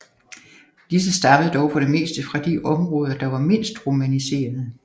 Disse stammede dog for det meste fra de områder der var mindst romaniserede